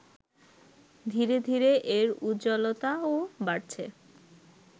ধীরে ধীরে এর উজ্জ্বলতাও বাড়ছে